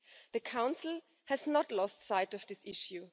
The Council has not lost sight of this issue.